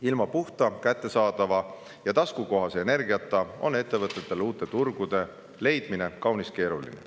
Ilma puhta, kättesaadava ja taskukohase energiata on ettevõtetele uute turgude leidmine kaunis keeruline.